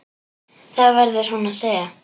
Það verður hún að segja.